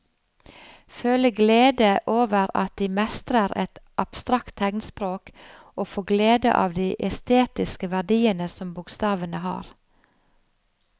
Føle glede over at de mestrer et abstrakt tegnspråk og få glede av de estetiske verdiene som bokstavene har.